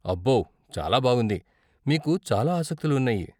అబ్బో, చాలా బాగుంది, మీకు చాలా ఆసక్తులు ఉన్నాయి.